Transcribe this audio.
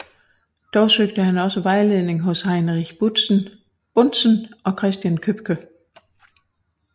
Dog søgte han også vejledning hos Heinrich Buntzen og Christen Købke